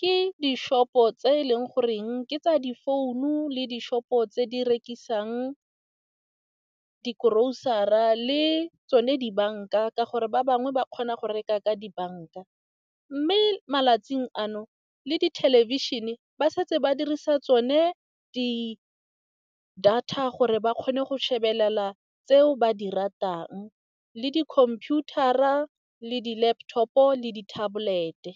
ke di-shop-o tse e leng goreng ke tsa di founu le di-shop-o tse di rekisang di grocery-ra, le tsone dibanka ka gore ba bangwe ba kgona go reka ka dibanka. Mme malatsing ano le di thelebišhene ba setse ba dirisa tsone di data, gore ba kgone go shebelela tseo ba di ratang le di computer-ra le di laptop-o le di tablet-e.